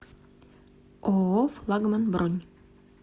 ооо флагман бронь